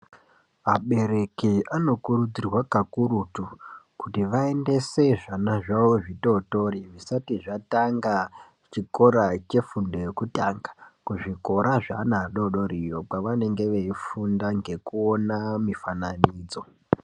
Abereki anokurudzirwe kakurutu kuti vaendese zvana zvavo zvitotori azvisati zvatanga chikora chefundo yekutanga kuzvikora zvevana vadodori iyo kwavanenge veifunda nekuona mifananidzo.